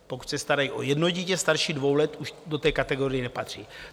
pokud se starají o jedno dítě starší dvou let, už do té kategorie nepatří.